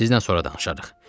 Sizlə sonra danışarıq.